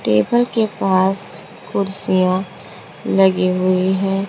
Table के पास कुर्सियां लगी हुई हैं।